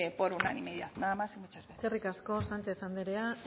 por unanimidad nada más y muchas gracias eskerrik asko sánchez andrea